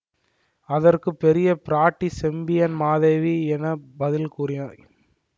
அதற்கு பெரிய பிராட்டி செம்பியன் மாதேவி என்ன பதில் கூறினார்